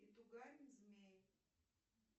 и тугарин змей